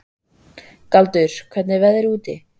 Galdur, hvernig er veðrið úti?